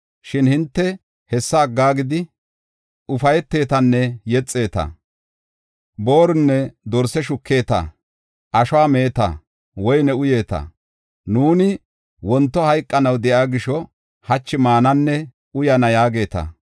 Shin hinte hessa aggidi ufaytetanne yexeeta; boorunne dorse shukeeta; ashuwa meeta; woyne uyeeta. Nuuni “Wonto hayqanaw de7iya gisho, hachi maananne uyana” yaageeta.